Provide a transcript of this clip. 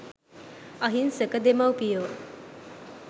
අහිංසක දෙමව්පියෝ